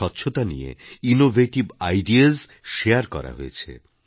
স্বচ্ছতা নিয়ে innovative ideas share করা হয়েছে